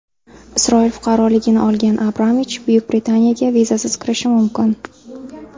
Isroil fuqaroligini olgan Abramovich Buyuk Britaniyaga vizasiz kirishi mumkin.